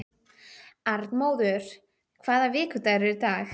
Arnmóður, hvaða vikudagur er í dag?